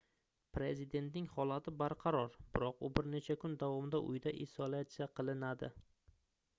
prezidentning holati barqaror biroq u bir necha kun davomida uyida isolyatsiya qilinadi